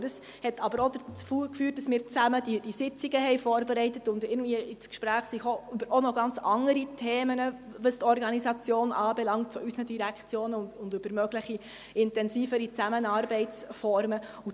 Dies führte aber auch dazu, dass wir diese Sitzungen zusammen vorbereiteten und irgendwie auch noch zu ganz anderen Themen ins Gespräch kamen, was die Organisation unserer Direktionen anbelangt, und über mögliche intensivere Zusammenarbeitsformen.